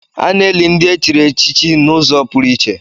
A na-eli ndị e chịrị echichi n'ụzọ pụrụ iche.